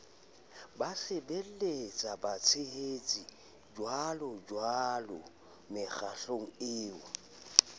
basebelletswa batshehetsi jjwalojwalo mekgatlong eo